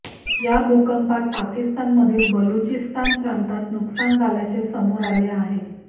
या भूकंपात पाकिस्तानमधील बलुचिस्तान प्रांतात नुकसान झाल्याचे समोर आले आहे